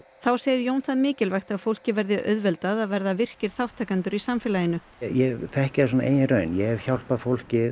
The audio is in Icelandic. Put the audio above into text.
þá segir Jón það mikilvægt að fólki verði auðveldað að verða virkir þátttakendur í samfélaginu ég þekki það af eigin raun ég hef hjálpað fólki